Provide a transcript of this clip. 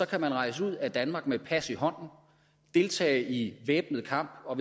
kan rejse ud af danmark med et pas i hånden og deltage i væbnet kamp og